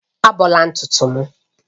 Ábọ̀la ntutu m